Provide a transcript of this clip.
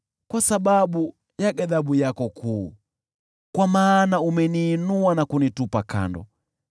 kwa sababu ya ghadhabu yako kuu, kwa maana umeniinua na kunitupa kando.